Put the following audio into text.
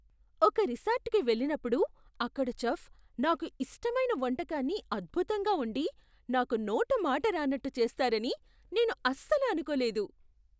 ఒక రిసార్ట్కి వెళ్ళినప్పుడు, అక్కడ చెఫ్ నాకు ఇష్టమైన వంటకాన్ని అద్భుతంగా వండి నాకు నోటమాట రానట్టు చేస్తారని నేను అస్సలు అనుకోలేదు.